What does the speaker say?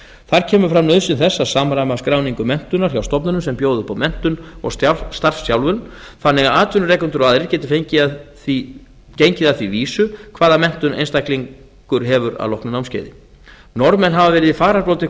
þar kemur fram nauðsyn þess að samræma skráningu menntunar hjá stofnunum sem bjóða upp á menntun og starfsþjálfun þannig að atvinnurekendur og aðrir geti gengið að því vísu hvaða menntun einstaklingur hefur að loknu námskeiði norðmenn hafa verið í fararbroddi